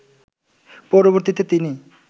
পরবর্তীতে তিনি